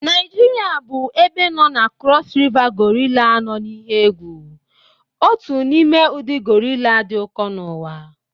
Naijiria bụ ebe nọ na Cross River gorilla nọ n'ihe egwu, otu n'ime ụdị gorilla dị ụkọ n'ụwa